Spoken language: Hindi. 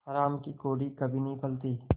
हराम की कौड़ी कभी नहीं फलती